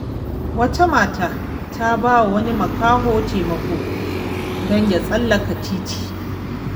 Wata mata ta ba wa wani makaho taimako don ya tsallaka titi.